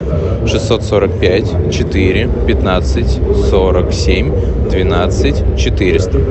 шестьсот сорок пять четыре пятнадцать сорок семь двенадцать четыреста